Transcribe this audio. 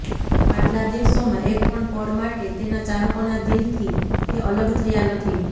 આટલા દિવસોમાં એકપણ પળ માટે તેના ચાહકોના દિલથી તે અલગ થયા નથી